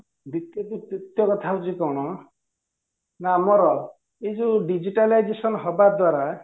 ଦ୍ୱିତୀୟ ତୃତୀୟ କଥା ହଉଚି କଣ ନା ଆମର ଏଇ ଯୋଉ digitalization ହବା ଦ୍ୱାରା